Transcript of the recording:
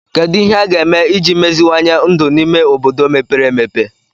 Kedu ihe a ga-eme iji meziwanye ndụ n'ime obodo mepere emepe